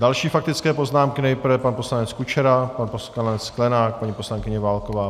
Další faktické poznámky - nejprve pan poslanec Kučera, pan poslanec Sklenák, paní poslankyně Válková.